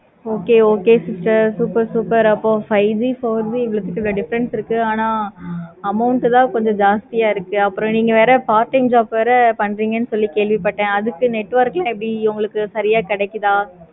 okay okay sister super super அப்போ five G, four G ரெண்டத்துக்கும் difference இருக்கு. amount தான் கொஞ்சம் ஜாஸ்தியா இருக்கு. அப்பறம் நீங்க வேற part time job வேற பண்றிங்க சொல்லி கேள்வி பட்டேன். அதுக்கு network எப்படி உங்களுக்கு சரியா கிடைக்குதா?